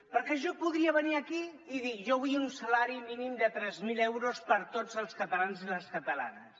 perquè jo podria venir aquí i dir jo vull un salari mínim de tres mil euros per a tots els catalans i les catalanes